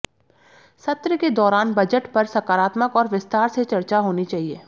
सत्र के दौरान बजट पर सकारात्मक और विस्तार से चर्चा होनी चाहिए